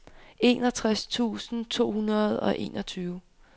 enogtres tusind to hundrede og enogtyve